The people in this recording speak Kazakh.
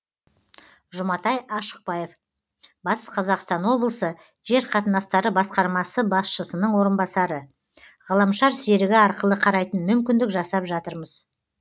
жұматай ашықбаев батыс қазақстан облысы жер қатынастары басқармасы басшысының орынбасары ғаламшар серігі арқылы қарайтын мүмкіндік жасап жатырмыз